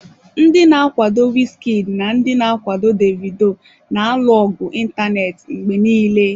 Ndị na-akwado Wizkid na ndị na-akwado Davido na-alụ ọgụ ịntanetị mgbe niile.